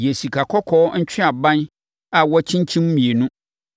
Yɛ sikakɔkɔɔ ntweaban a wɔakyinkyim mmienu.